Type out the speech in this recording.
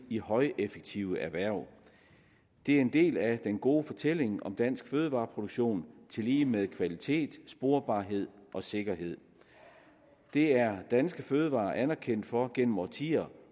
i højeffektive erhverv det er en del af den gode fortælling om dansk fødevareproduktion tillige med kvalitet sporbarhed og sikkerhed det er danske fødevarer anerkendt for gennem årtier